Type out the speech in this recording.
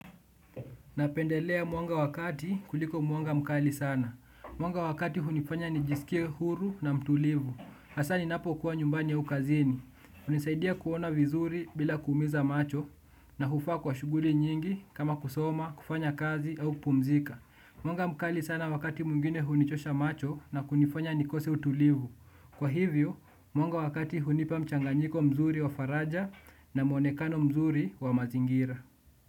Napendelea mwanga wa kati kuliko mwanga mkali sana. Mwanga wa kati hunifanya nijisikie huru na mtulivu. Hasa ninapokuwa nyumbani au kazini. Hunisaidia kuona vizuri bila kuumiza macho na hufaa kwa shughuli nyingi kama kusoma, kufanya kazi au kupumzika. Mwanga mkali sana wakati mwingine hunichosha macho na kunifanya nikose utulivu. Kwa hivyo, mwanga wa kati hunipa mchanganyiko mzuri wa faraja na muonekano mzuri wa mazingira.